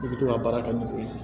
I bɛ to ka baara kɛ n'o ye